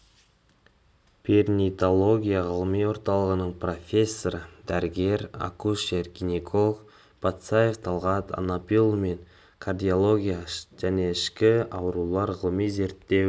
перинаталогия ғылыми орталығының профессоры дәрігер акушер-гинеколог патсаев талғат анапиұлы мен кардиология және ішкі аурулар ғылыми-зерттеу